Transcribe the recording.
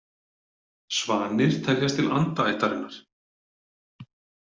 Svanir teljast til andaættarinnar.